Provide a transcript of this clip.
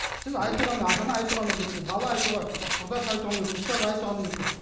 сіз айтуға ата ана айтуға міндетті бала айтуға құрдас айтуға міндетті ұстаз айтуға міндетті